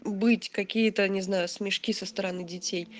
быть какие-то не знаю смешки со стороны детей